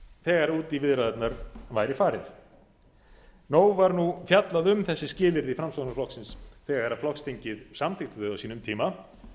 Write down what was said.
þegar út í viðræðurnar væri farið nóg var nú fjallað um þessi skilyrði framsóknarflokksins þegar flokksþingið samþykkti þau á sínum tíma